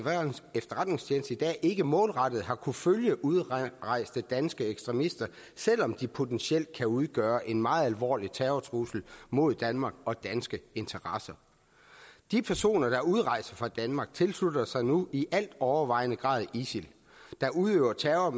efterretningstjeneste i dag ikke målrettet har kunnet følge udrejste danske ekstremister selv om de potentielt kan udgøre en meget alvorlig terrortrussel mod danmark og danske interesser de personer der udrejser fra danmark tilslutter sig nu i al overvejende grad isil der udøver terror og